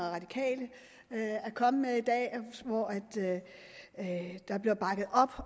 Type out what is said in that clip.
radikale er kommet med i dag hvor der bliver bakket op